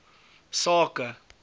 sake